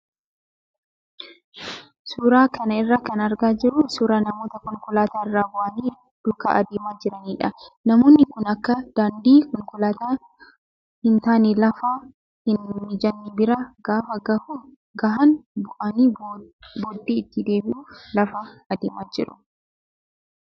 Suuraa kana irraa kan argaa jirru suuraa namoota konkolaataa irraa bu'anii duukaa adeemaa jiranidha. Namoonni kun bakka daandii konkolaataa hin taane lafa hin mijanne bira gaafa gahan bu'anii booddee itti deebi'uuf lafaa adeemaa jiru.